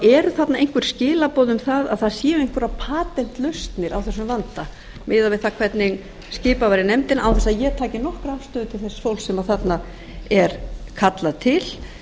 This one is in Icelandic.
eru þarna einhver skilaboð um að það séu arna einhverjar patentlausnir á þessum vanda miðað við það hvernig skipað var í nefndina án þess að ég taki nokkra afstöðu til þess fólks sem þarna er kallað til